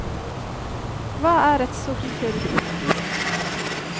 Hva er et sort hull?